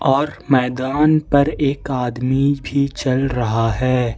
और मैदान पर एक आदमी भी चल रहा है।